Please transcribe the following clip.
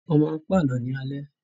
Wọ́n máa ń pa àlọ́ ní alẹ́